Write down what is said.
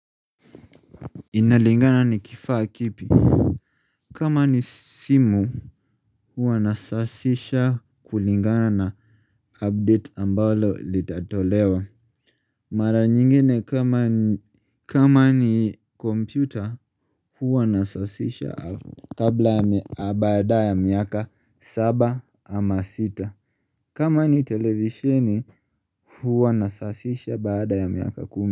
Inalingana ni kifaa kipi kama ni simu huwa nasasisha kulingana na update ambalo litatolewa Mara nyingine kama ni komputer huwa nasasisha kabla ya baada ya miaka saba ama sita kama ni televisheni huwa nasasisha baada ya miaka kumi.